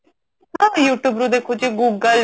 ହଁ you tube ରୁ ଦେଖୁଛି google